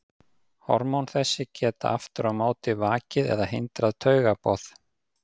Hormón þess geta aftur á móti vakið eða hindrað taugaboð.